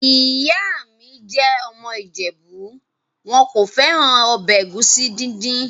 Ìyá mi jẹ́ ọmọ ìjẹ̀bú. Wọn kò fẹ́ràn ọbẹ̀ ẹ̀gúsí dídì.